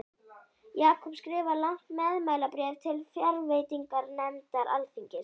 Jakob skrifar langt meðmælabréf til fjárveitinganefndar alþingis.